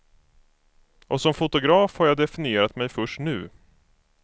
Och som fotograf har jag definierat mig först nu.